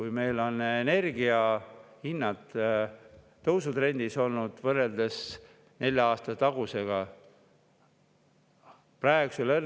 Ja meil on energia hinnad tõusutrendis olnud võrreldes nelja aasta taguse.